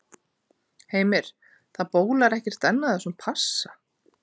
Heimir, það bólar ekkert enn á þessum passa?